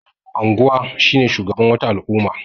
Mai anguwa shine shugaban wata al'umma.